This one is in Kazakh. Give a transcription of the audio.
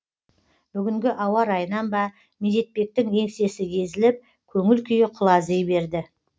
бүгінгі ауа райынан ба медетбектің еңсесі езіліп көңіл күйі құлази берді